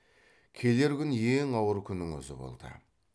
келер күн ең ауыр күннің өзі болды